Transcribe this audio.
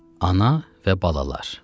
Ana və balalar.